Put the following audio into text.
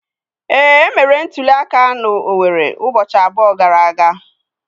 Ee, e mere ntuli aka na Owerre ụbọchị abụọ gara aga.